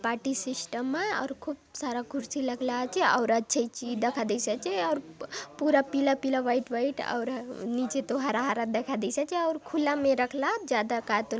party system आउ खूब सारा कुर्सी लगला आचे आउर अच्छा ही चि दखा देयसि आचे आउर पूरा पीला - पीला व्हाइट व्हाइट आउर नीचे तो हरा - हरा दखा देयसि आचे आउर खुला में रखला आत ज्यादा कायतो --